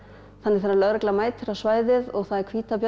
þannig að þegar lögreglan mætir á svæðið og það er hvítabjörn